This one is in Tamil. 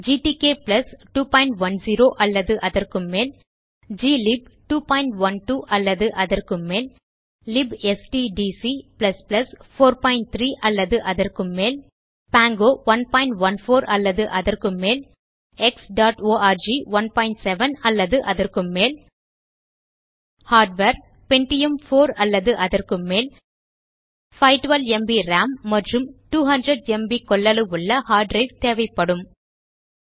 GTK 210 அல்லது அதற்கும்மேல் கிளிப் 212 அல்லது அதற்கும்மேல் லிப்ஸ்ட்டிடிசி 43 அல்லது அதற்கும்மேல் பாங்கோ 114 அல்லது அதற்கும்மேல் xஆர்க் 17 அல்லது அதற்கும்மேல் ஹார்ட்வேர் பென்டியம் 4 அல்லது அதற்கும் மேல் 512ம்ப் ராம் மற்றும் 200ம்ப் கொள்ளவுள்ள ஹார்ட் டிரைவ் தேவைப்படும்